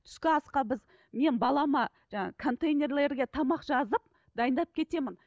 түскі асқа біз мен балама жаңағы контейнерлерге тамақ жазып дайындап кетемін